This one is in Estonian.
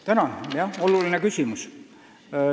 Tänan, see on oluline küsimus.